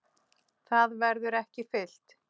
Það verður ekki fyllt.